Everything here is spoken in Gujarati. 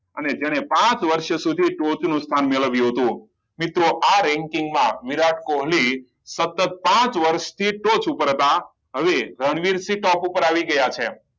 અને જેને પાંચ વર્ષ સુધી ટોચ નું સ્થાન મેળવ્યું હતું મિત્રો આ ranking માં વિરાટ કોહલી સતત પાંચ વર્ષ સુધી ટોચ પર હતા હવે રણવીરસિંહ ટોપ ઉપર આવી ગયા છે